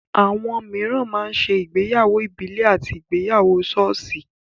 Àwọn mìíràn máa ń ṣe ìgbéyàwó ìbílè àti ìgbéyàwó sọ́ọ̀sì.